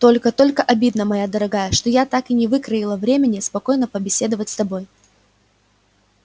только только обидно моя дорогая что я так и не выкроила времени спокойно побеседовать с тобой